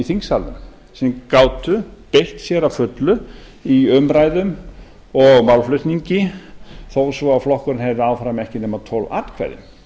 þingsalnum sem gátu beitt sér að fullu í umræðum og málflutningi þó svo að flokkurinn hefði áfram ekki nema tólf atkvæði